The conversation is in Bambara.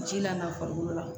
Ji la n'a farikolo la